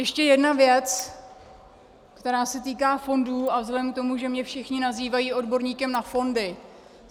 Ještě jedna věc, která se týká fondů, a vzhledem k tomu, že mě všichni nazývají odborníkem na fondy.